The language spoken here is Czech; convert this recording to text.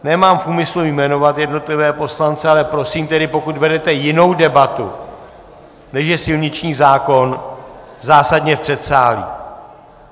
Nemám v úmyslu jmenovat jednotlivé poslance, ale prosím tedy, pokud vedete jinou debatu, než je silniční zákon, zásadně v předsálí!